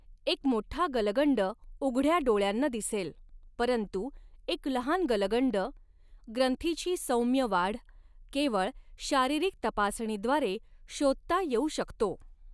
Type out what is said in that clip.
एक मोठा गलगंड उघड्या डोळ्यांना दिसेल, परंतु एक लहान गलगंड ग्रंथीची सौम्य वाढ केवळ शारीरिक तपासणीद्वारे शोधता येऊ शकतो.